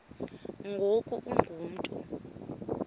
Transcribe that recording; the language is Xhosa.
ngoku ungu mntu